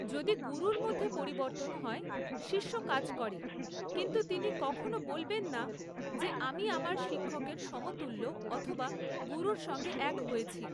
যদি গুরুর মধ্যে পরিবর্তন হয় শিষ্য কাজ করে কিন্তু তিনি কখনও বলবেন না যে আমি আমার শিক্ষকের সমতুল্য অথবা গুরুের সঙ্গে এক হয়েছি।